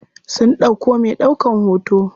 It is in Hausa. Sun ɗauko me ɗaukan hoto.